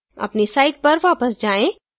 अपनी site पर वापस जाएँ